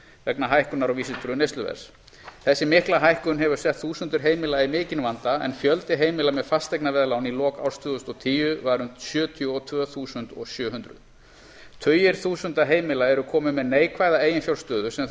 vegna hækkunar á vísitölu neysluverðs þessi mikla hækkun hefur sett þúsundir heimila í mikinn vanda en fjöldi heimila með fasteignaveðlán í lok árs tvö þúsund og tíu var um sjötíu og tvö þúsund sjö hundruð tugir þúsunda heimila eru komin með neikvæða eiginfjárstöðu sem þau